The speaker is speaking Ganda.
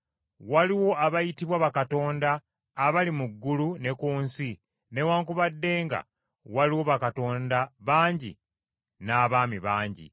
Waliwo abayitibwa bakatonda abali mu ggulu ne ku nsi newaakubadde nga waliwo bakatonda bangi n’abaami bangi.